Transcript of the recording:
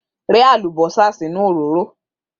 Rẹ́ àlùbọ́sà sínú òróró!